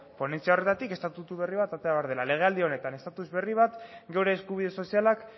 ponentzia horretatik estatutu berri bat atera behar dela legealdi honetan estatus berri bat geure eskubide sozialak